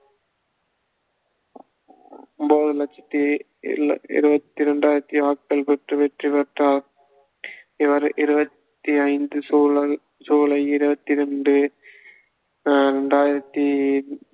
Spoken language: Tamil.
மூணு லட்சத்தி இல்~ இருப்பது இரண்டாயிரத்தி வாக்குகள் பெற்று வெற்றி பேற்றார் இவர் இருபத்thi ஐந்து சூ~ சூலை இருபத்தி ரெண்டு அஹ் இரண்டாயிரத்தி